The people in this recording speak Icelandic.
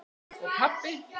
Og pabbi!